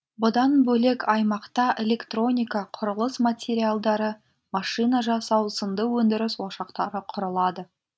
бұдан бөлек аймақта электроника құрылыс материалдары машина жасау сынды өндіріс ошақтары құрылады